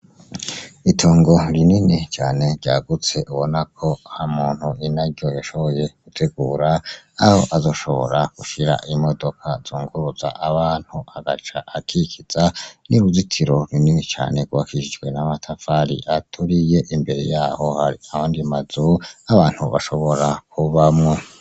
Itongo rinini cane ryagutse ubona ko umuntu inaryo yashoboye gutegura aho azoshobora gushira imodoka zunguruza abantu aca akikiza n'uruzitiro runini cane rwubakishijwe n'amatafari aturiye, imbere yaho hari ayandi mazu nk'abantu bashobora kubamwo.